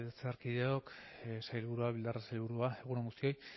legebiltzarkideok sailburuak bildarratz sailburua egun on guztoi bueno